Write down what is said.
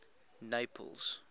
naples